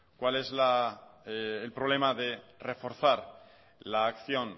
cuál es el problema de reforzar la acción